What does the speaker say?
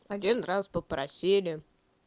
один раз попросили